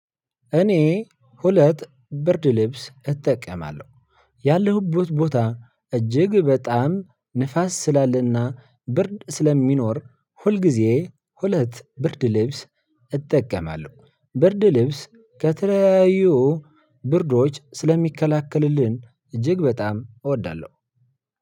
እኔ ሁለት ብርድ ልብስ እጠቀማለሁ ያለሁበት ቦታ እጅግ በጣም ንፋስ ስላለና ብርድ ስለሚኖር ሁልጊዜ ሁለት ብርድ ልብስ እጠቀማለሁ። ብርድ ልብስ ከተለያዩ ብርዶች ስለሚከላከልልን እጅግ በጣም እወዳለሁ።